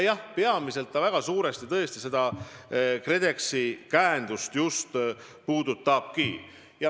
Peamiselt see suurel määral tõesti seda KredExi käendust puudutabki.